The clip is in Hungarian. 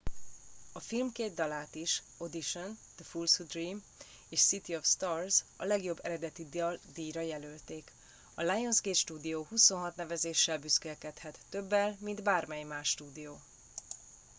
a film két dalát is - audition the fools who dream és city of stars - a legjobb eredeti dal díjra jelölték. a lionsgate stúdió 26 nevezéssel büszkélkedhet - többel mint bármely más stúdió